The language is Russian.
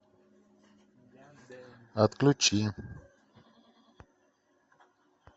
отключи